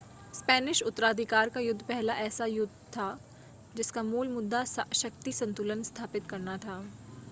Spanish उत्तराधिकार का युद्ध पहला ऐसा युद्ध था जिसका मूल मुद्दा शक्ति संतुलन स्थापित करना था